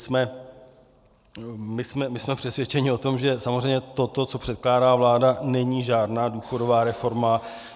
Jsme přesvědčeni o tom, že samozřejmě to, co předkládá vláda, není žádná důchodová reforma.